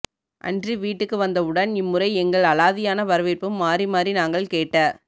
அன்ரி வீட்டுக்கு வந்தவுடன் இம்முறை எங்கள் அலாதியான வரவேற்பும் மாறிமாறி நாங்கள் கேட்ட